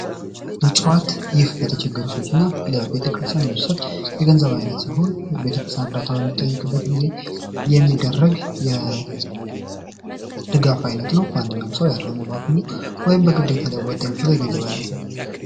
ምፅዋት ይህ ለተቸገሩ ሰወች እና ለቤተክርስቲያን የሚሰጥ የገንዘብ ዓይነት ሲሆን ቤተክርስያን እርዳታ በሚጠይቅበት ጊዜ የሚደረግ የድጋፍ አይነት ነው። ማንኛውም ሰው ያለውን በአቅሙ ወይም በግድታ ሊያዋጣ የሚችለው የገንዘብ ዓይነት ነው።